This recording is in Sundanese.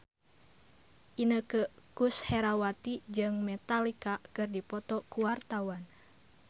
Inneke Koesherawati jeung Metallica keur dipoto ku wartawan